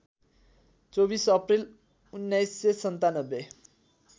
२४ April १९९७